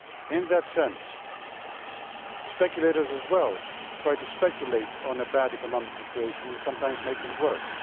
In that sense, speculators also try to speculate on a bad economic situation and sometimes make it worse.